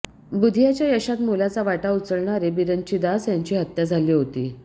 बुधियाच्या यशात मोलाचा वाटा उचलणारे बिरंची दास यांची हत्या झाली होती